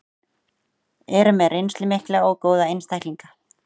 Eru með reynslu mikla og góða einstaklinga.